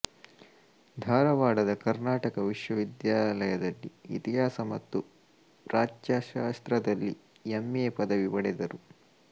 ಧಾರವಾಡದ ಕರ್ನಾಟಕ ವಿಶ್ವವಿದ್ಯಾಲಯದಲ್ಲಿ ಇತಿಹಾಸ ಮತ್ತು ಪ್ರಾಚ್ಯಶಾಸ್ತ್ರದಲ್ಲಿ ಎಂ ಎ ಪದವಿ ಪಡೆದರು